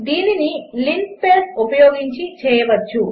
దీనిని లిన్స్పేస్ ఉపయోగించి చేయవచ్చు